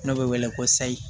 N'o bɛ wele ko sayi